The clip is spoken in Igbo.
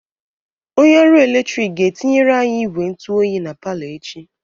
Onye ọrụ eletrik ga-etinyere anyị igwe ntụ oyi na palọ echi